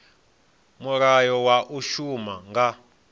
mulayo wa u shuma nga